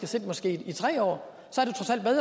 sidde måske tre år